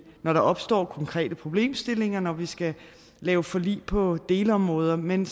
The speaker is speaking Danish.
når der opstår konkrete problemstillinger når vi skal lave forlig på delområder men